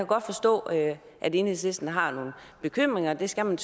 godt forstå at at enhedslisten har nogle bekymringer og det skal man